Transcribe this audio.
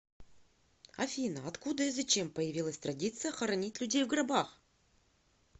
афина откуда и зачем появилась традиция хоронить людей в гробах